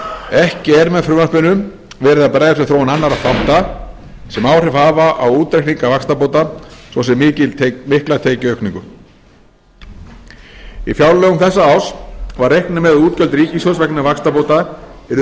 ekki er með frumvarpinu verið að bregðast við þróun annarra þátta sem áhrif hafa á útreikninga vaxtabóta svo sem mikla tekjuaukningu í fjárlögum þessa árs var reiknað með að útgjöld ríkissjóðs vegna vaxtabóta yrðu